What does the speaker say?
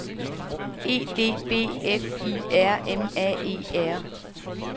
E D B F I R M A E R